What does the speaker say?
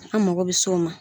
An mago bɛ s'o ma.